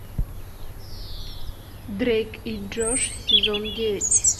дрейк и джош сезон девять